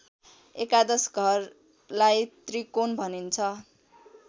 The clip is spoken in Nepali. एकादश घरलाई त्रिकोण भनिन्छ